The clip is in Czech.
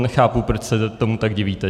Nechápu, proč se tomu tak divíte.